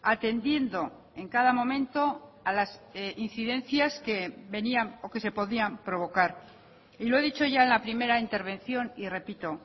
atendiendo en cada momento a las incidencias que se podían provocar y lo he dicho ya en la primera intervención y repito